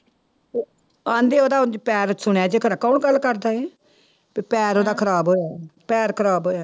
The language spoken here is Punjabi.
ਕਹਿੰਦੇ ਉਹਦਾ ਪੈਰ ਸੁਣਿਆ ਜਿਕਰ ਕੌਣ ਗੱਲ ਕਰਦਾ ਸੀ, ਵੀ ਪੈਰ ਉਹਦਾ ਖ਼ਰਾਬ ਹੋਇਆ ਪੈਰ ਖ਼ਰਾਬ ਹੋਇਆ।